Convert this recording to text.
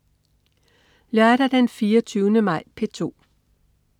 Lørdag den 24. maj - P2: